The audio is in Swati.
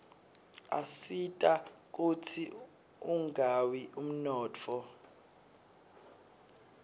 asita kutsz unqawi umnotfo